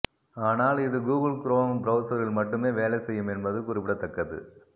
ஆனால் இது Google Chrome பிரெளசரில் மட்டுமே வேலை செய்யும் என்பது குறிப்பிடத்தக்கது